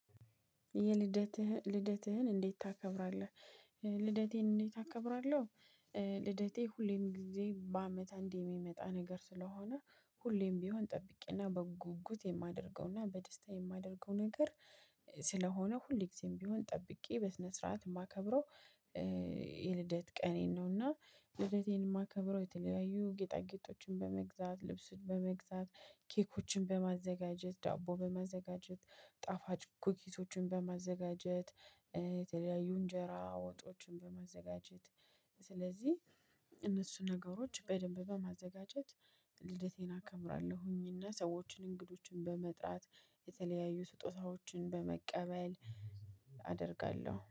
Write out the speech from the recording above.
የልደትህን ልደትህን እንዴት ታከብራለህ? ልደቴን እንዴት አከብራለሁ ልደቴ ሁሌም ጊዜ በአመት አንዴ የሚመጣ ነገር ስለሆነ ሁሌም ቢሆን ጠብቄና በጉጉት የማደርገውና በደስታ የማደርገው ነገር ስለሆነ ሁል ጊዜም ቢሆን ጠብቄ በስነ ስርዓት የማከብረው የልደት ቀኔን ነውና ልደቴን የማከብረው የተለያዩ ጌጣጌጦችን በመግዛት፣ ልብስን በመግዛት፣ ኬኮችን በማዘጋጀት ዳቦ በማዘጋጀት፣ ጣፋጭ ኩሶችን በማዘጋጀት፣ የተለያዩ እንጀራ ወጦችን በማዘጋጀት ስለዚህ እነሱን ነገሮች በደንብ በማዘጋጀት ልደቴን አከምራለሁኝና ሰዎችን እንግዶችን በመጥራት የተለያዩ ስጦታዎችን በመቀበል አደርጋለሁ።